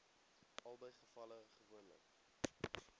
albei gevalle gewoonlik